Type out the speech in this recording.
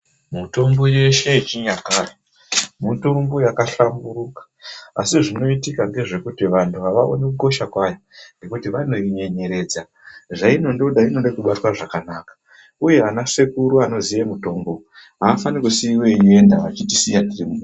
Mitombo yeshe yechinyakare mitombo yakahlamburuka asi zvinoitika ndezve kuti vantu avaoni kukosha kwavo vanhu vanoinyenyeredza zvainongoda inoda kubatwa zvakanaka uye ana sekuru Anoziva mitombo afani kusiiwa eienda achitisiya.